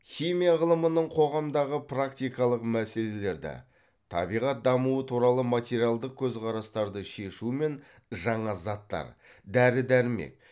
химия ғылымының қоғамдағы практикалық мәселелерді табиғат дамуы туралы материалдық көзқарастарды шешу мен жаңа заттар дәрі дәрмек